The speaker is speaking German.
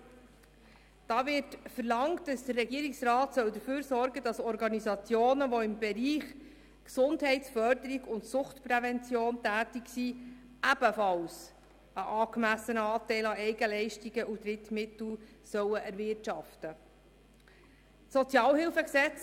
: Hier wird verlangt, dass der Regierungsrat dafür sorgt, dass Organisationen, die im Bereich Gesundheitsförderung und Suchtprävention tätig sind, ebenfalls einen angemessenen Anteil an Eigenleistung und Finanzierung aus Drittmitteln erwirtschaften sollen.